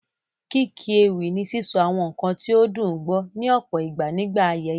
Kíkí ewì ni sísọ àwọn nǹkan ní ó dùn gbọ́, ní ọ̀pọ̀ ìgbà nígbà ayẹyẹ.